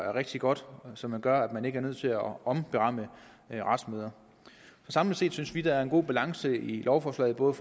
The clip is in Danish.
er rigtig godt og som gør at man ikke er nødt til at omberamme retsmøder samlet set synes vi der er en god balance i lovforslaget både